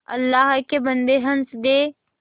अल्लाह के बन्दे हंस दे